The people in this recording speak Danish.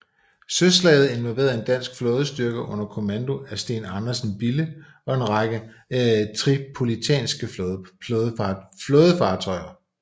Søslaget involverede en dansk flådestyrke under kommando af Steen Andersen Bille og en række tripolitanske flådefartøjer